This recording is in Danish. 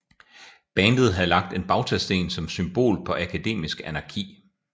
Bandet havde lagt en bautasten som symbol på akademisk anarki